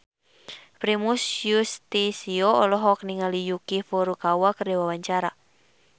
Primus Yustisio olohok ningali Yuki Furukawa keur diwawancara